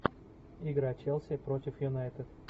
игра челси против юнайтед